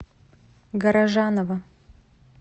горожанова